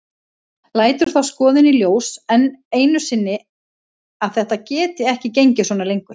Lætur þá skoðun í ljós enn einu sinni að þetta geti ekki gengið svona lengur.